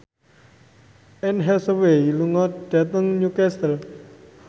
Anne Hathaway lunga dhateng Newcastle